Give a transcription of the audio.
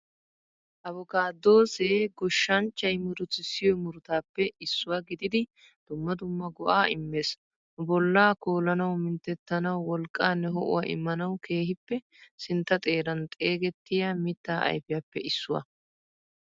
Avokaadose goshanchchay muruttisiyo murattapee issuwa gididi dumma dumma go'a immes. Nu bolla koolanawu, mintettanawu, wolqqanne ho''uwa imanawu kehippe sintta xeeran xeegettiya mitta ayfiyappe issuwaa.